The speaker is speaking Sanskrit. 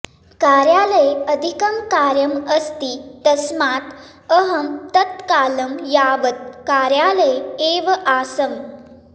कार्यालये अधिकं कार्यम् अस्ति तस्मात् अहं तत् कालं यावत् कार्यालये एव आसम्